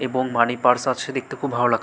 এবং money purse আছে দেখতে খুব ভালো লাগ--